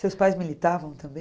Seus pais militavam também?